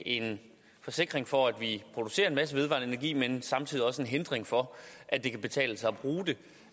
en forsikring for at vi producerer en masse vedvarende energi men samtidig også en hindring for at det kan betale sig